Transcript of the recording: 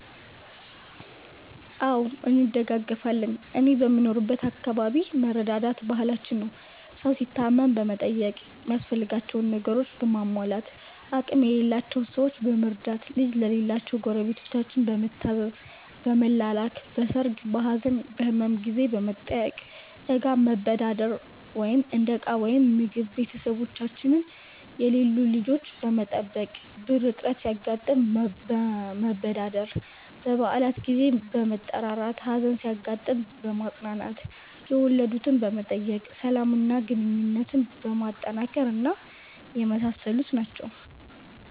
አዎ እንደጋገፋለን እኔ በምኖርበት አከባቢ መረዳዳት ባህላችን ነው። ሠው ሲታመም በመጠየቅ ሚያስፈልጋቸውን ነገሮችን በማሟላት፣ አቅም የሌላቸውን ሠዎች በመርዳት፣ ልጅ ለሌላቸው ጎረቤታችን በመታዘዝ፣ በመላላክ፣ በሠርግ፣ በሀዘን፣ በህመም ጊዜ በመጠያየቅ፣ እቃ መበዳደር (እንደ ዕቃዎች ወይም ምግብ)፣ቤተሠቦቻቸው የሌሉ ልጆች በመጠበቅ፣ ብር እጥረት ሲያጋጥም መበዳደር፣ በበአላት ጊዜ በመጠራራት፣ ሀዘን ሲያጋጥም በማፅናናት፣ የወለድትን በመጠየቅ፣ ሠላም እና ግንኙነትን በማጠናከር እና የመሣሠሉት ናቸው።